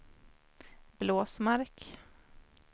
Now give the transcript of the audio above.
Blåsmark